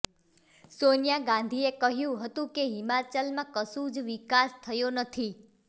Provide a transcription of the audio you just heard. સોનિયા ગાંધીએ કહ્યું હતું કે હિમાચલમાં કશું જ વિકાસ થયો નથી